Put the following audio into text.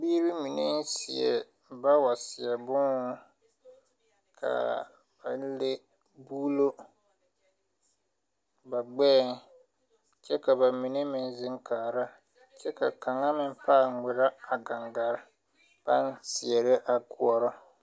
Biire mineŋ seɛ bawa seɛ būūhū kaa baŋ le buulo ba gbɛɛŋ kyɛ ka ba mine meŋ zèŋ kaara kyɛ ka kaŋa meŋ pãã ngmirɛ a gangaa baŋ seɛrɛ a goɔrɔ.